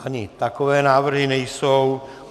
Ani takové návrhy nejsou.